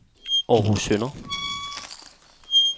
Århus Søndre